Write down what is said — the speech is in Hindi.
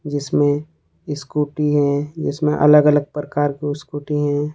जिसमें स्कूटी है जिसमें अलग अलग प्रकार क स्कूटी हैं।